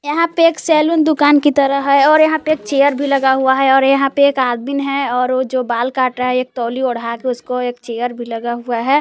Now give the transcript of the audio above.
यहां पे एक सैलून दुकान की तरह है और यहां पे एक चेयर भी लगा हुआ है और यहां पे एक आदमीन है और वो जो बाल काट रहा है एक तौली ओढ़ाकर उसको एक चेयर भी लगा हुआ है।